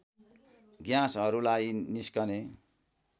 ग्याँसहरूलाई निस्कने